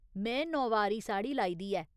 में नौवारी साड़ी लाई दी ऐ।